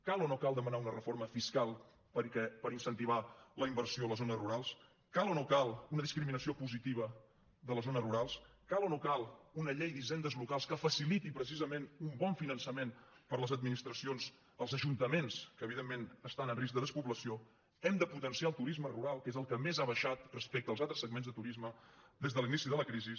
cal o no cal demanar una reforma fiscal per incentivar la inversió a les zones rurals cal o no cal un discriminació positiva de les zones rurals cal o no cal una llei d’hisendes locals que faciliti precisament un bon finançament per les administracions als ajuntaments que evidentment estan en risc de despoblació hem de potenciar el turisme rural que és el que més ha baixat respecte als altres segments de turisme des de l’inici de la crisi